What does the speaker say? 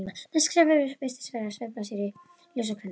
Næsta skref virtist vera að sveifla sér í ljósakrónunum.